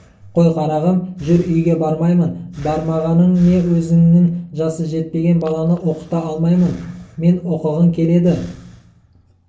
қой қарағым жүр үйге бармаймын бармағаның не өзіңнің жасы жетпеген баланы оқыта алмаймын мен оқығың келеді